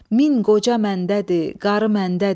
Min qoca məndədir, qarı məndədir.